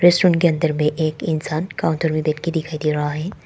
Restaurant के अंदर में एक इंसान काउंटर में बैठ के दिखाई दे रहा है।